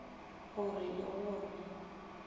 go re le go re